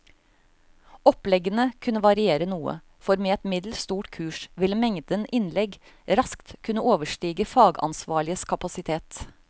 Oppleggene kunne variere noe, for med et middels stort kurs ville mengden innlegg raskt kunne overstige fagansvarliges kapasitet.